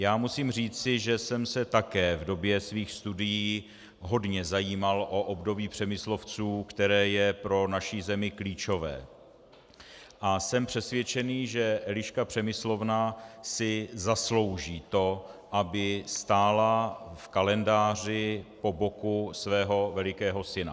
Já musím říci, že jsem se také v době svých studií hodně zajímal o období Přemyslovců, které je pro naši zemi klíčové, a jsem přesvědčený, že Eliška Přemyslovna si zaslouží to, aby stála v kalendáři po boku svého velikého syna.